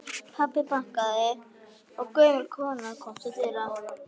Pabbi bankaði og gömul kona kom til dyra.